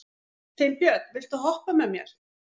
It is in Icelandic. Finnbjörn, viltu hoppa með mér?